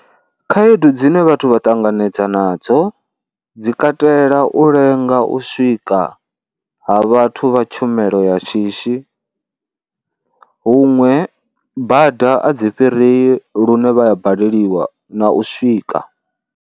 Khaedu dzine vhathu vha ṱanganedza nadzo dzi katela u lenga u swika ha vhathu vha tshumelo ya shishi, huṅwe bada a dzi fhirei lune vha ya baleliwa na u swika.